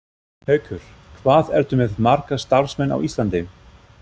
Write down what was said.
Haukur: Hvað ertu með marga starfsmenn á Íslandi?